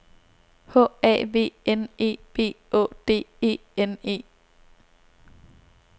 H A V N E B Å D E N E